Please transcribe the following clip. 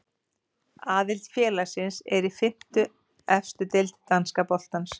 Aðallið félagsins er í fimmtu efstu deild danska boltans.